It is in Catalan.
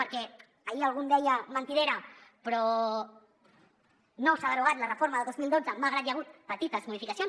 perquè ahir algú em deia mentidera però no s’ha derogat la reforma del dos mil dotze malgrat que hi ha hagut petites modificacions